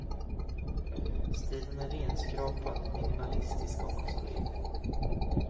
Stilen är renskrapad, minimalistisk om man så vill.